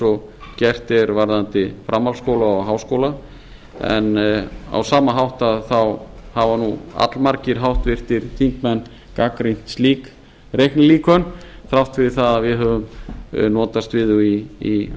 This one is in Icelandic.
og gert er varðandi framhaldsskóla og háskóla en á sama hátt hafa allmargir háttvirtir þingmenn gagnrýnt slík reiknilíkön þrátt fyrir það að við höfum notast við þau í